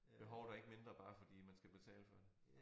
Behovet er ikke mindre bare fordi at man skal betale for det